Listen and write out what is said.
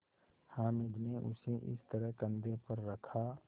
हामिद ने उसे इस तरह कंधे पर रखा